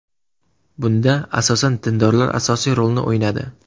Bunda asosan dindorlar asosiy rolni o‘ynadi.